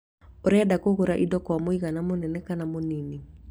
Ũrenda kũgũra indo kwa mũigana mũnene kana mũnyinyi